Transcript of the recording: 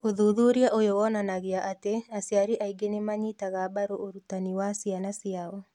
Ũthuthuria ũyũ wonanagia atĩ aciari aingĩ nĩ manyitaga mbaru ũrutani wa ciana ciao,